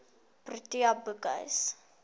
protea boekhuis